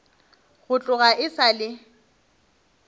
go tloga e sa le